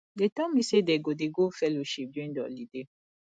dey tell me say dey go dey go fellowship during the holiday